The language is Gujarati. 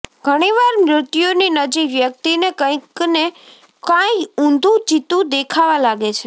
ઘણીવાર મૃત્યુની નજીક વ્યક્તિને કંઈકને કાંઈ ઊંધું ચિત્તું દેખાવા લાગે છે